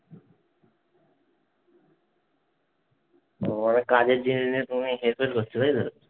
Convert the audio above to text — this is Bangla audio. ও অনেক কাজের জিনিস নিয়ে তুমি হেরফের করছো। এই তো?